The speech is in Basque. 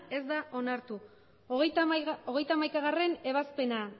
ez da onartu hogeita hamaikagarrena ebazpena